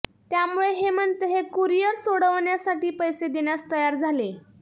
त्यामुळे हेमंत हे कुरिअर सोडवण्यासाठी पैसे देण्यास तयार झाले